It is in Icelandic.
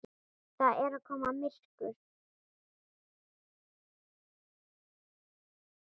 Það er að koma myrkur.